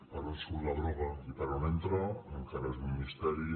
per on surt la droga i per on entra encara és un misteri